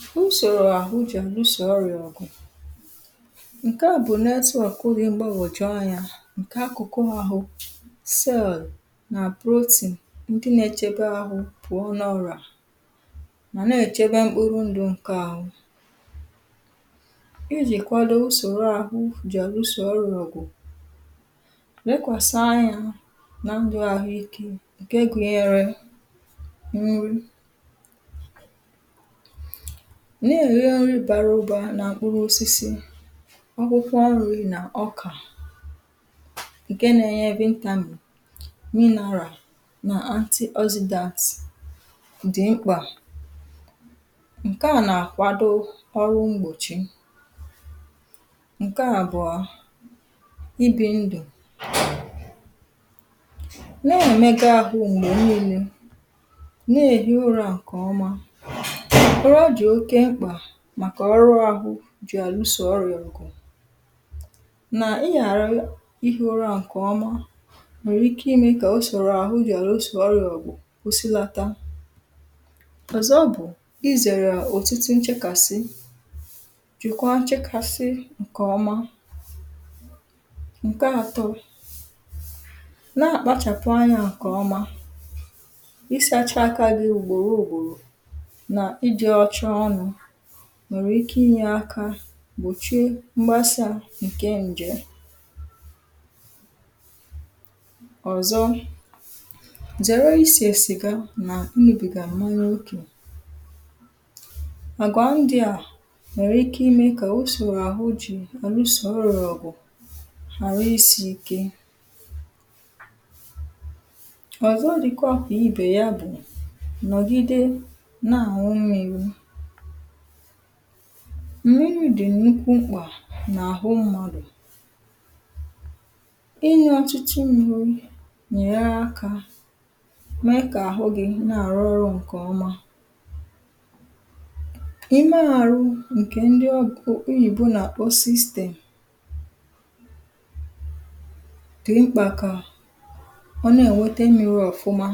FILE 128 usòrò àhụ jị̀ ànusò ọrịà ọ̀gụ̀. ǹkẹ à bụ̀ network dị mgbagwòju anyā, ǹkẹ akụ̀kụ ahụ, cell nà protein, ndị n’ẹchẹbẹ ahụ pụọ na ọrịà, mà n’ẹchẹbẹ mkpụrụ ndụ̄ ǹkẹ arụ. ijìkwado usòro ahụ jì ànusò ọrịà bụ̀, lẹkwàsa anyā na ndụ̄ ahụ ikē, ǹkẹ gụnyẹrẹ nrị. nà èri nri bara ụba nà mkpụrụ osisi, ọkpụkpụ arụ̄ nà ọkà, ǹkẹ na ẹnyẹ vitamin, mineral, nà antioxidants dị̀ mkpà. ǹkẹ à nà àkwado ọrụ mgbòchi. ǹkẹ àbụ̀ọ, ibī ndụ̀. nà ẹ̀mẹga ahụ m̀gbè nine, nà èhi ụrā ǹkẹ̀ ọma. ụra dị̀ oke mkpà màkà ọrụ ahụ jì àlusò ọrịà ọ̀gụ̀, nà ịghàra ihī ụrā ǹkẹ̀ ọma nwẹ̀rẹ̀ ike imẹ̄ kà usòro ahụ ọrịā jì ànusò ọrịā ọ̀gụ̀ kwusilata. ọ̀zọ bụ̀ izẹ̀rẹ̀ òtutu nchẹkàsị jìkwa nchẹkàsị ǹkẹ̀ ọma. ǹkẹ atọ, nà àkpachàpụ anyā ǹkẹ̀ ọma, ịsācha akā gị ùgbòro ùgbòrò, nà ijẹ̄ rucha ọnụ̄ nwèrè ike ị nyẹ aka gbòchie mgbasā ǹkẹ ǹjẹ̀m. ọ̀zọ, zẹ̀rẹ ịsẹ̀ cigar nà ịnwụbìgà m̀manya okè. àgwà ndịà nwẹ̀rẹ̀ ike ị mẹ̄ kà usòro àhụ jì ànusò ọrịà ọ̀gụ̀ arụ isī ike. ọ̀zọ dịkwa kà ibè ya bụ̀, nọ̀gide nà àñụ mmīri. m̀miri dị̀ nnukwu mkpà n’àhụ mmadù. ịñụ ọtụtụ mmīri nà ènyere akā mẹ kà àhụ gị̄ nà àrụ ọrụ̄ ǹkè ọma. ime arụ ǹkẹ̀ ndị oyìbo nà àkpọ system, dị̀ mkpà kà ọ nà ènwete mmiri ọ̀fụma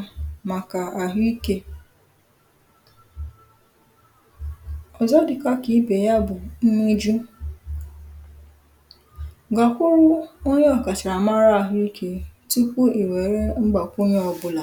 màkà àhụikē. ọ̀zọ dịkwa kà ibè ya bụ̀ nñuju. gàkwuru onye ọ̀kàchàmara ahụ ikē tupù ị̀ wẹ̀rẹ mgbàkwunye ọbụlà